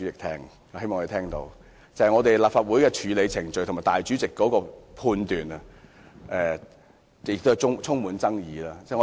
《條例草案》在立法會的處理程序，以至主席的裁決，都充滿爭議。